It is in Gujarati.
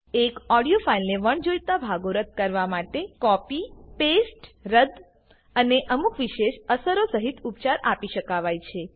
એક ઓડીયો ફાઈલને વણજોઈતા ભાગો રદ્દ કરવા માટે કાપી કોપી પેસ્ટ રદ્દ અને અમુક વિશેષ અસરો સહીત ઉપચાર આપી શકાવાય છે